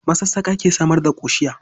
Masassƙa ke samar da ƙoshiya.